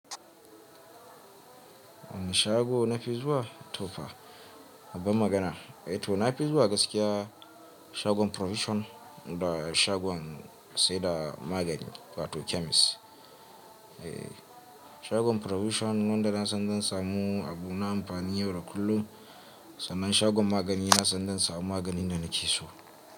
Shago nafi zuwa tofa bamagana, to nafi zuwa gaskiya shagwan provision da shagwan sai da magani, fa to chemist. Shagwan provision non da na san zan samu abu na amfani yau da kullum, sannan shagwan magani na san zan samu maganin da nake so.